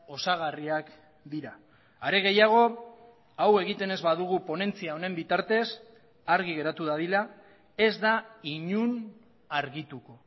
osagarriak dira are gehiago hau egiten ez badugu ponentzia honen bitartez argi geratu dadila ez da inon argituko